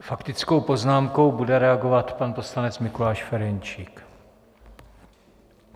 Faktickou poznámkou bude reagovat pan poslanec Mikuláš Ferjenčík.